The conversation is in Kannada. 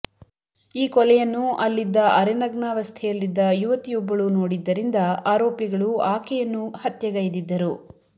ಈ ಕೊಲೆಯನ್ನು ಅಲ್ಲಿದ್ದ ಅರೆನಗ್ನಾವಸ್ಥೆಯಲ್ಲಿದ್ದ ಯುವತಿಯೊಬ್ಬಳೂ ನೋಡಿದ್ದರಿಂದ ಆರೋಪಿಗಳು ಆಕೆಯನ್ನೂ ಹತ್ಯೆಗೈದಿದ್ದರು